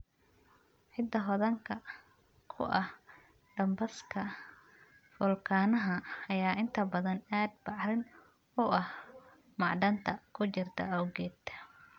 Ciidda hodanka ku ah dambaska foolkaanaha ayaa inta badan aad bacrin u ah macdanta ku jirta awgeed.